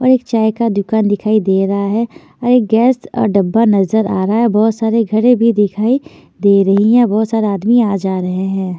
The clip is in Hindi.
और एक चाय का दुकान दिखाई दे रहा है और एक गैस और डब्बा नजर आ रहा हैं बहुत सारे घड़े भी दिखाई दे रही हैं और बहुत सारे आदमी आ-जा रहे हैं।